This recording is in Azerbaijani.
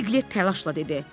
Piqlet təlaşla dedi: